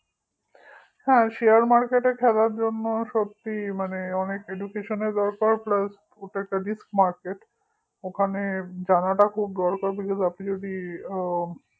হ্যাঁ share market এ খেলার জন্য সত্যিই মানে অনেক education এর দরকার plus ওটা একটা riskmarket ওখানে জানাটা খুব দরকার because আপনি যদি আ